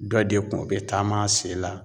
Dɔ de kun bɛ taam'a sen la